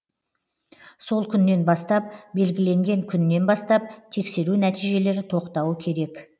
сол күннен бастап белгіленген күннен бастап тексеру нәтижелері тоқтауы керек